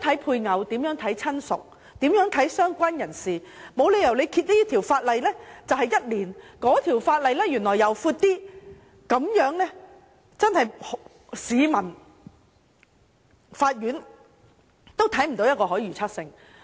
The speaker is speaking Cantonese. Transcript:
配偶、親屬和"相關人士"的定義應保持一致，這條法例規定一年，另一條法例年期就長一些，這樣是不合理的，對市民、法院都缺乏可預測性。